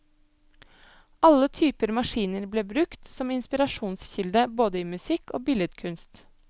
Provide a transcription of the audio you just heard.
Alle typer maskiner ble brukt som inspirasjonskilde både i musikk og billedkunst.